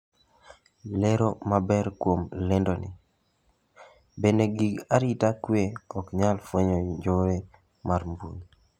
Lero maber kuom lendoni. Bende gik arita kwe ok nyal fwenyo njore mar mbuyi?